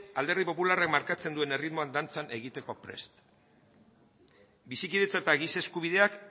alderdi popularrak markatzen duen erritmora dantzan egiteko prest bizikidetza eta giza eskubideak